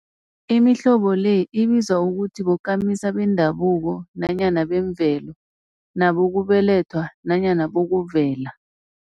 Imihlobo le ibizwa ukuthi bokamisa bendabuko nanyana bemvelo, nabokubelethwa nanyana bokuvela.